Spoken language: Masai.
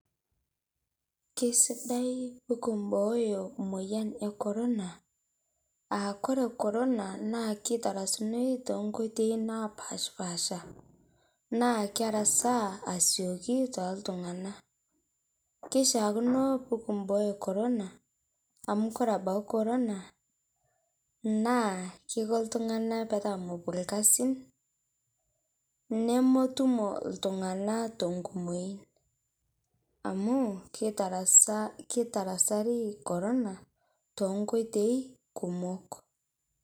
Kesidai pekimboyo emoyian ekorona aa ore korona na kitarasuni tonkoitoi napashipaasha naabkerasaa asioki toltunganak na kishaakino pekimbooyo korona amu ore ebau korona na keiko ltunganak metaa mepuo irkasin nemetumo ltunganak tenkumoi amu kitarasari korona to nkoitoi kumok